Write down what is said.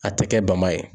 A tɛ kɛ bama ye